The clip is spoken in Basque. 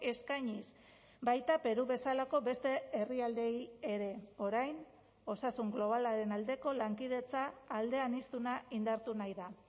eskainiz baita peru bezalako beste herrialdeei ere orain osasun globalaren aldeko lankidetza aldeaniztuna indartu nahi da